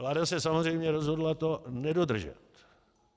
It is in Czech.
Vláda se samozřejmě rozhodla to nedodržet.